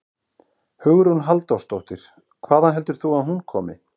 Hugrún Halldórsdóttir: Hvaðan heldur þú að hún komi?